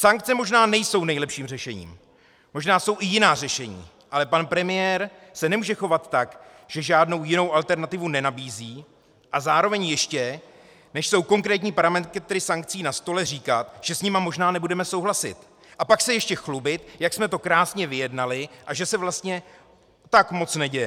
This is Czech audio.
Sankce možná nejsou nejlepším řešením, možná jsou i jiná řešení, ale pan premiér se nemůže chovat tak, že žádnou jinou alternativu nenabízí, a zároveň ještě, než jsou konkrétní parametry sankcí na stole, říkat, že s nimi možná nebudeme souhlasit, a pak se ještě chlubit, jak jsme to krásně vyjednali a že se vlastně tak moc neděje.